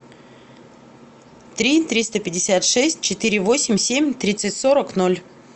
три триста пятьдесят шесть четыре восемь семь тридцать сорок ноль